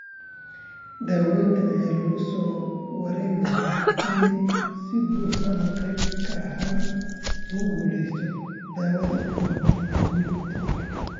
Daawaynta ayaa lagu soo waramayaa in si buuxda ama qayb ahaan loogu guulaystay daawada bortezomib.